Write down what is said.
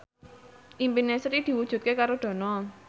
impine Sri diwujudke karo Dono